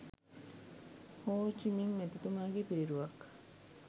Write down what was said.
හෝ Chi Minh මැතිතුමාගේ පිළිරුවක්